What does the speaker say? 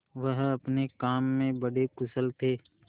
वह अपने काम में बड़े कुशल थे